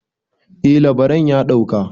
eh labaran ya dauka